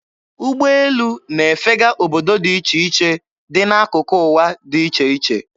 Ụgbọelụ na-efega obodo dị iche iche dị n'akụkụ ụwa dị iche iche.